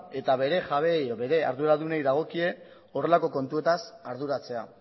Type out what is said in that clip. eta bere jabeei edo bere arduradunei dagokie horrelako kontuetaz arduratzea